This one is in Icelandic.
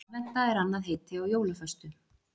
Aðventa er annað heiti á jólaföstu.